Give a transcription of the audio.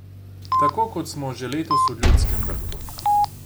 Tako, kot smo že letos v Ljudskem vrtu.